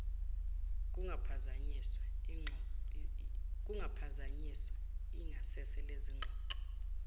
kungaphazanyiswa ingasese lezingxoxo